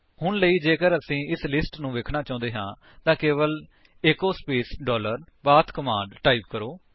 ਹੁਣੇ ਲਈ ਜੇਕਰ ਅਸੀਂ ਇਸ ਲਿਸਟ ਨੂੰ ਵੇਖਣਾ ਚਾਹੁੰਦੇ ਹਾਂ ਤਾਂ ਕੇਵਲ echo space dollar path command type ਕਰੋ